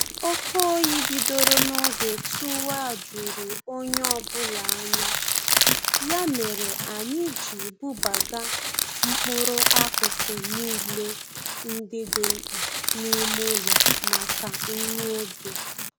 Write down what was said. Oke oyi bidoro n'oge tụwa juru onye ọbụla anya, ya mere anyị ji bubaga mkpụrụ akụkụ niile ndị dị mkpa n'ime ụlọ maka nwa oge